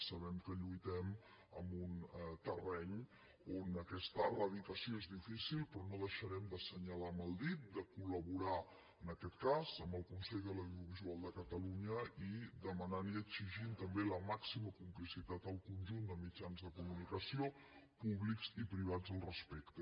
sabem que lluitem en un terreny on aquesta eradicació és difícil però no deixarem d’assenyalar amb el dit de col·laborar en aquest cas amb el consell de l’audiovisual de catalunya i demanant i exigint també la màxima complicitat al conjunt de mitjans de comunicació públics i privats al respecte